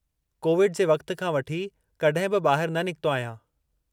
Covid जे वक़्त खां वठी कॾहिं बि ॿाहिरि न निकतो आहियां।